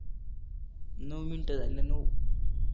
नऊ मिनिटं झाले नऊ